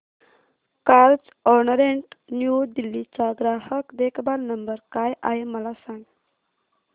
Carzonrent New Delhi चा ग्राहक देखभाल नंबर काय आहे मला सांग